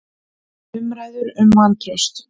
Umræður um vantraust